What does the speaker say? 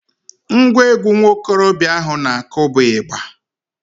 Ngwa egwu nwa okorobịa ahụ na-akụ bụ ịgba